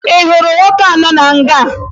Ị hụrụ nwoke ahụ nọ na nga?